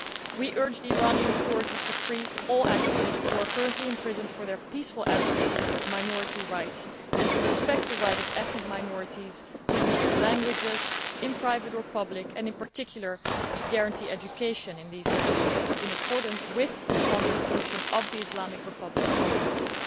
We urge the Iranian authorities to free all activists who are currently imprisoned for their peaceful advocacy of minority rights and to respect the right of ethnic minorities to use their languages, in private or public, and in particular to guarantee education in these languages in accordance with the constitution of the Islamic Republic of Iran.